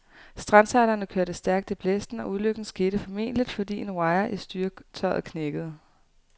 Strandsejlerne kørte stærkt i blæsten, og ulykken skete formentligt, fordi en wire i styretøjet knækkede.